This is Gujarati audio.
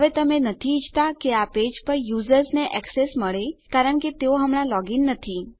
હવે તમે નથી ઈચ્છતા કે આ પેજ પર યુઝર્સને એક્સેસ મળે કારણ કે તેઓ હમણાં લોગ ઇન નથી